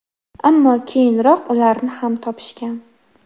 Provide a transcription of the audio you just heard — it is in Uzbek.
Ammo keyinroq ularni ham topishgan.